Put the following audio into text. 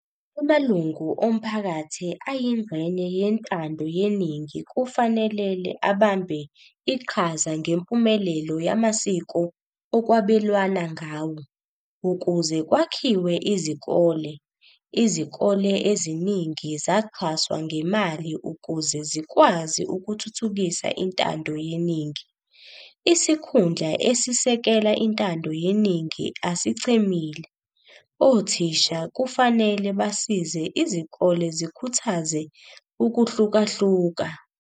Amalungu omphakathi ayingxenye yentando yeningi kufanelel abambe iqhaza ngempumelelo yamasiko okwabelwana ngawo. Ukuze kwakhiwe izikole, izikole eziningi zaxhaswa ngemali ukuze zikwazi ukuthuthukisa intando yeningi. Isikhundla esisekela intando yeningi asichemile, othisha kufanele basize izikole zikhuthaze ukuhlukahluka.